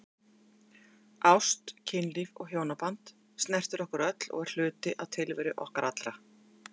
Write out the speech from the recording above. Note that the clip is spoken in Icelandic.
Ást, kynlíf og hjónaband snertir okkur öll og er hluti tilveru okkar allra.